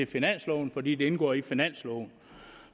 finansloven fordi det indgår i finansloven